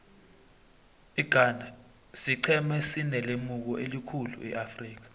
ighana siqhema esinelemuko elikhulu eafrika